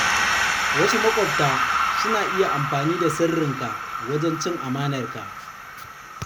Wasu maƙwabta suna iya amfani da sirrinka wajen cin amanar ka.